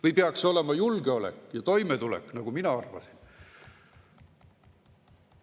Või peaks see olema julgeolek ja toimetulek, nagu mina arvasin?